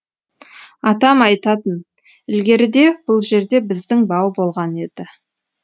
атам айтатын ілгеріде бұл жерде біздің бау болған еді